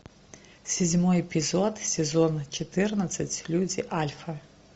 седьмой эпизод сезона четырнадцать люди альфа